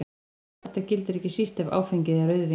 Þetta gildir ekki síst ef áfengið er rauðvín.